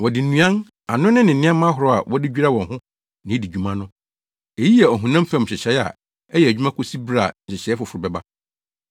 Wɔde nnuan, anonne ne nneɛma ahorow a wɔde dwira wɔn ho na edi dwuma no. Eyi yɛ ɔhonam fam nhyehyɛe a ɛyɛ adwuma kosi bere a nhyehyɛe foforo bɛba.